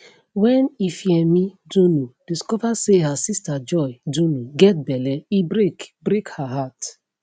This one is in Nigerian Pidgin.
wen ifiemi dunu discover say her sister joy dunu get belle e break break her heart